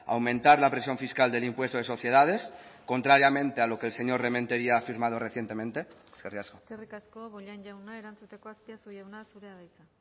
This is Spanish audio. aumentar la presión fiscal del impuesto de sociedades contrariamente a lo que el señor rementeria ha firmado recientemente eskerrik asko eskerrik asko bollain jauna erantzuteko azpiazu jauna zurea da hitza